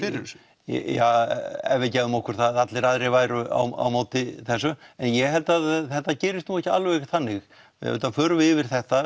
þessu já ef við gefum okkur það að allir hinir væru á móti þessu en ég held að þetta gerist ekki alveg þannig við auðvitað förum yfir þetta